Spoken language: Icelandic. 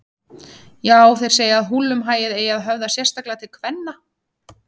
Já, þeir segja að húllumhæið eigi að höfða sérstaklega til kvenna.